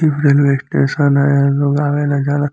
इ railway station ह लोग आवे ला जाला |